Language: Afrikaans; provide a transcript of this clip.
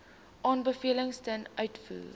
aanbevelings ten uitvoer